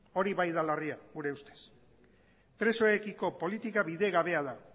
hori bai da larria gure ustez presoekiko politika bidegabea da